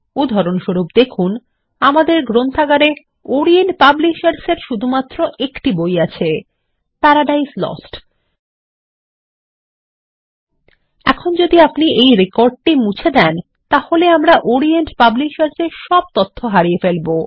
উদাহরণস্বরূপ দেখুন আমাদের গ্রন্থাগারে ওরিয়েন্ট পাবলিশার্স এর শুধুমাত্র একটি বই আছে প্যারাডাইজ লস্ট এখন যদি আপনি এই রেকর্ডটি মুছে দেন তাহলে আমরা ওরিয়েন্ট পাবলিশার্স এর সব তথ্য হারিয়ে ফেলব